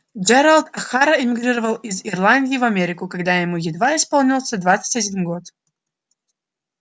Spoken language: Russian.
джералд охара эмигрировал из ирландии в америку когда ему едва исполнился двадцать один год